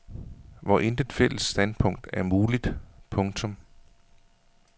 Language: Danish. Hvor intet fælles standpunkt er muligt. punktum